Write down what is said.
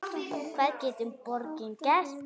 Hvað getur borgin gert?